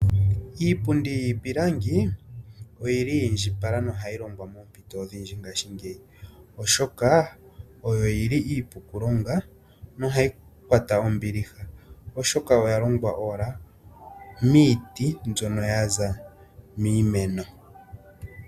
Iipundi yiipilangi oyili yi indjipala no hayi longwa moompito odhindji ngaashingeyi oshoka oyo yili iipu oku longa nohayi kwata ombiliha oshoka oya longwa owala miiti mbyono ya za miimeno.